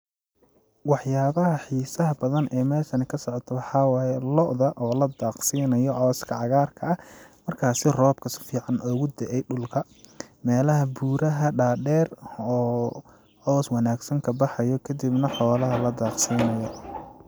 Wax yaabaha xiisaha badan ee meeshan ka socdo waxaa waaye ,looda oo la daaqsiinayo cawska cagaarka ah ,markaasi roobka si fiican ugu da'e dhulka ,meelaha buuraha dhadheer oo caws wanaagsan ka baxayo kadibna xoolaha la daaqsinaayo.